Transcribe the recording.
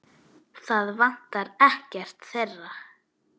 Það vantar ekkert þeirra.